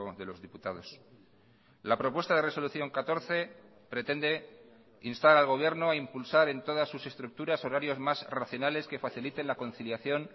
de los diputados la propuesta de resolución catorce pretende instar al gobierno a impulsar en todas sus estructuras horarios más racionales que faciliten la conciliación